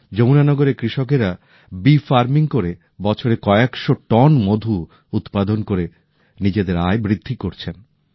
যমুনা নগরে কৃষকেরা মৌচাষ করে বছরে কয়েক শো টন মধু উৎপাদন করে নিজেদের আয় বৃদ্ধি করছেন